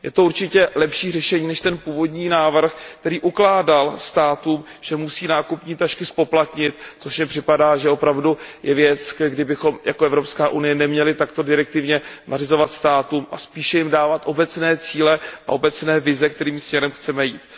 Je to určitě lepší řešení než ten původní návrh, který ukládal státům, že musí nákupní tašky zpoplatnit, což mně připadá, že je opravdu věc, kterou bychom jako Evropská unie neměli takto direktivně státům nařizovat. Spíše bychom jim měli dávat obecné cíle a obecné vize, kterým směrem chceme jít.